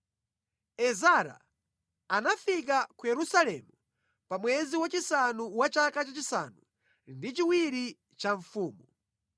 Ezara anafika ku Yerusalemu pa mwezi wachisanu wa chaka chachisanu ndi chiwiri cha mfumu.